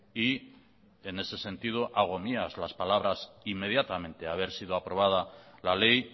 y en ese sentido hago mías las palabras inmediatamente haber sido aprobada la ley